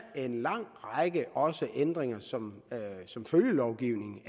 en lang række ændringer som som følgelovgivning